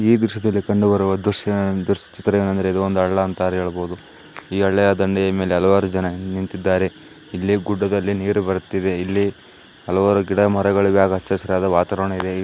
ಈ ದೃಶ್ಯ ದಲ್ಲಿ ಕಂಡುಬರುವ ದೃಶ್ಯ ಇದು ಒಂದು ಹಳ್ಳ ಅಂತಾ ಹೇಳಬಹುದು. ಈ ಹಳ್ಳ ದಂಡೆಯ ಮೇಲೆ ಹಲವಾರು ಜನ ನಿಂತಿದ್ದಾ.ರೆ ಇಲ್ಲಿ ಗುಡ್ಡದಲ್ಲಿ ನೀರು ಬರುತ್ತಿದ್ದೆ. ಇಲ್ಲಿ ಹಲವಾರು ಗಿಡ ಮರಗಳ ಅಚ್ಚ ಹಸಿರ ವಾತಾವರಣ ಇದೆ. ಈ --